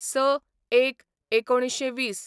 ०६/०१/१९२०